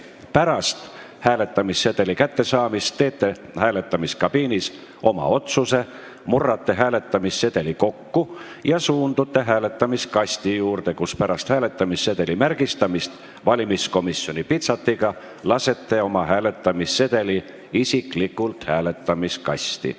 Pärast hääletamissedeli kättesaamist teete hääletamiskabiinis oma otsuse, murrate hääletamissedeli kokku ja suundute hääletamiskasti juurde, kus pärast hääletamissedeli märgistamist valimiskomisjoni pitseriga lasete oma hääletamissedeli isiklikult hääletamiskasti.